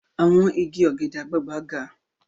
Àwọn igi ọ̀gẹ̀dẹ̀ àgbagbà ga.